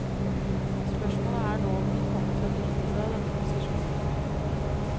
Spørsmålet er nå om de kommer til å benytte seg av denne posisjonen.